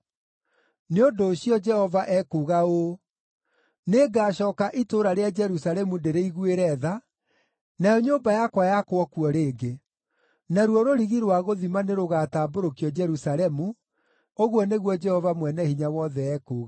“Nĩ ũndũ ũcio, Jehova ekuuga ũũ: ‘Nĩngacooka itũũra rĩa Jerusalemu ndĩrĩiguĩre tha, nayo nyũmba yakwa yakwo kuo rĩngĩ. Naruo rũrigi rũa gũthima nĩrũgatambũrũkio Jerusalemu,’ ũguo nĩguo Jehova Mwene-Hinya-Wothe ekuuga.